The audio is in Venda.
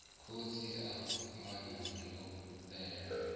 khotsi a ṅwana yo fhela